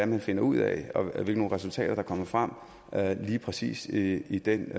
man finder ud af og hvilke resultater der kommer frem lige præcis i i den